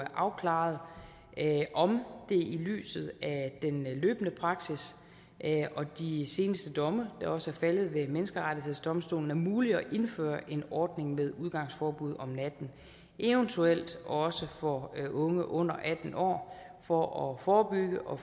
afklaret om det i lyset af den løbende praksis og de seneste domme der også er faldet ved menneskerettighedsdomstolen er muligt at indføre en ordning med udgangsforbud om natten eventuelt også for unge under atten år for at forebygge og